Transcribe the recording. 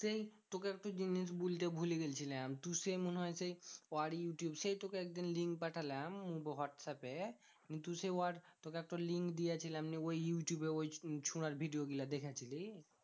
সেই তোকে একটা জিনিস বলতে ভুলে গেছিলাম। তু সে মনে হয় সেই ইউটিউব সেই তোকে একদিন link পাঠালাম হোয়াটস্যাপে? কিন্তু সেই হোয়াটস্যাপ তোকে তো link দিয়েছিলাম নিয়ে ওই ইউটিঊবে ওই ছোড়ার video গুলো দেখেছিলি?